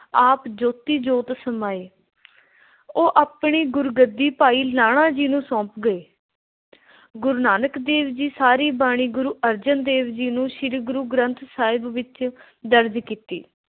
ਆਪ ਜੋਤੀ ਜੋਤ ਸਮਾਏ। ਉਹ ਆਪਣੀ ਗੁਰਗੱਦੀ ਭਾਈ ਲਹਿਣਾ ਜੀ ਨੂੰ ਸੌਂਪ ਗਏ। ਗੁਰੂ ਨਾਨਕ ਦੇਵ ਜੀ ਸਾਰੀ ਬਾਣੀ ਗੁਰੂ ਅਰਜਨ ਦੇਵ ਜੀ ਨੂੰ ਸ਼੍ਰੀ ਗੁਰੂ ਗੰਥ ਸਾਹਿਬ ਵਿੱਚ ਦਰਜ ਕੀਤੀ।